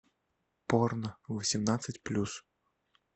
порно восемнадцать плюс